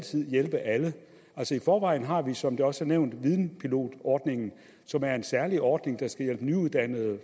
hjælpe alle i forvejen har vi som det også er nævnt videnpilotordningen som er en særlig ordning der skal hjælpe nyuddannede